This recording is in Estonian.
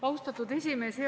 Austatud esimees!